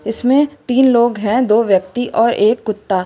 इसमें तीन लोग है दो व्यक्ति और एक कुत्ता।